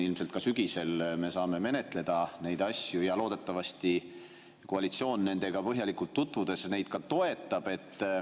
Ilmselt ka sügisel me saame menetleda neid asju ja loodetavasti koalitsioon, olles nendega põhjalikult tutvunud, neid ka toetab.